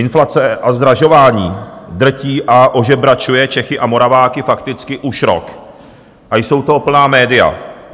Inflace a zdražování drtí a ožebračuje Čechy a Moraváky fakticky už rok a jsou toho plná média.